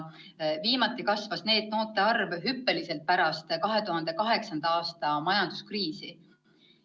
Viimati kasvas NEET-noorte arv hüppeliselt pärast 2008. aasta majanduskriisi.